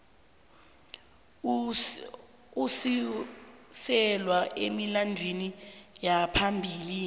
osuselwa emilandwini yaphambilini